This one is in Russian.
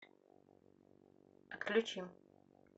отключи